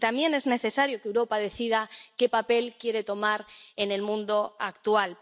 Y también es necesario que Europa decida qué papel quiere tomar en el mundo actual.